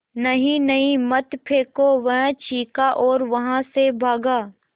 नहीं नहीं मत फेंको वह चीखा और वहाँ से भागा